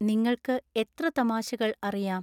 നിങ്ങൾക്ക് എത്ര തമാശകൾ അറിയാം